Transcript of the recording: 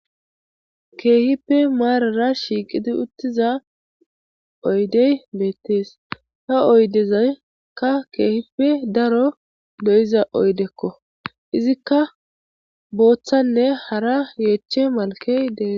keehippe maarara shiiqidi uttiza oydey beettees ha oydezaykka keehippe daro lo7iza oydekko izikka booththanne hara yeeche malkey dee